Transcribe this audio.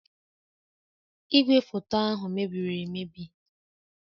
Igwefoto ahụ mebiri emebi